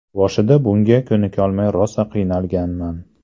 Boshida bunga ko‘nikolmay rosa qiynalganman.